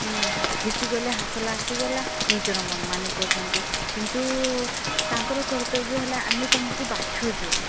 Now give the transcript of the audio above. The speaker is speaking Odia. ଜିତିଗଲେ ହାସଲ୍ ଆସିଗଲା ନିଜର ମନମାନି କରୁଛନ୍ତି। କିନ୍ତୁ ତାଙ୍କର କରତବ୍ୟ ହେଲା ଆମେ ତମକୁ ବଛୁଛୁ